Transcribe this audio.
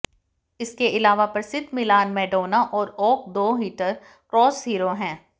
इसके अलावा प्रसिद्ध मिलान मैडोना और ओक दो हीटर क्रॉस हीरो है